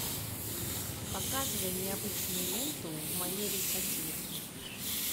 показывай необычную ленту в манере сатиры